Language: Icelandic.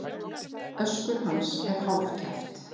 Öskur hans er hálfkæft.